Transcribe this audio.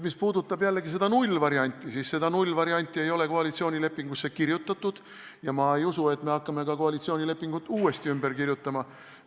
Mis puudutab nullvarianti, siis nullvarianti ei ole koalitsioonilepingusse kirjutatud ja ma ei usu, et me hakkame koalitsioonilepingut uuesti ümber kirjutama.